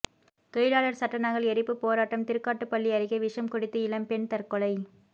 தொழிலாளர் சட்ட நகல் எரிப்பு போராட்டம் திருக்காட்டுப்பள்ளி அருகே விஷம் குடித்து இளம்பெண் தற்கொலை